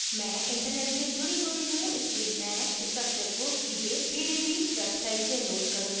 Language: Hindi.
मैं internet से जुडी हुई हूँ इसलिए मैं structure को सीधे pdb website से load करुँगी